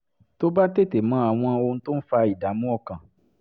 tó bá tètè mọ àwọn ohun tó ń fa ìdààmú ọkàn